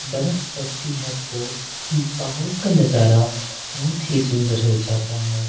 बरफ पड़ती है तो इन पहाड़ों का नजारा बहुत ही सुंदर हो जाता है।